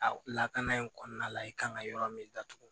A lakana in kɔnɔna la i kan ka yɔrɔ min datugu